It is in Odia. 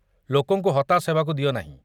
ଲୋକଙ୍କୁ ହତାଶ ହେବାକୁ ଦିଅ ନାହିଁ।